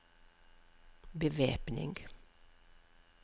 bevæpning